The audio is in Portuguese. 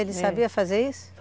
Ele sabia fazer isso?